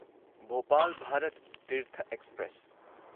Bhopal Bharat Tirth express